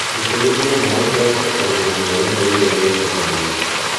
Itĩlĩria maĩĩ kĩroko tene na hwaĩini rĩrĩa gwĩ kũhoreru